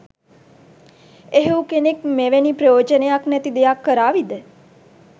එහෙව් කෙනෙක් මෙවෑනි ප්‍රයෝජනයක් නෑති දෙයක් කරාවිද?